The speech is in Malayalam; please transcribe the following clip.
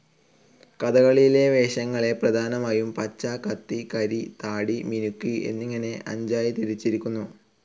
കഥകളിയിലെ വേഷങ്ങളെ പ്രധാനമായും പച്ച, കത്തി, കരി, താടി, മിനുക്ക്‌ എന്നിങ്ങനെ അഞ്ചായി തിരിച്ചിരിക്കുന്നു.